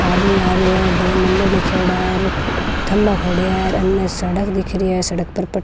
आदमी आ रहियो है दो नंबर लीखेड़ा है और थम्भा खड़या है अन सड़क दिख रही है सड़क पर पट्ट --